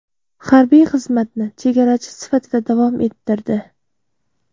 Harbiy xizmatni chegarachi sifatida davom ettirdi.